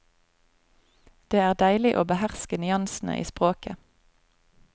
Det er deilig å beherske nyansene i språket.